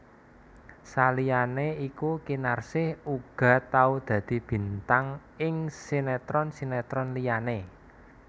Saliyané iku Kinarsih uga tau dadi bintang ing sinetron sinetron liyané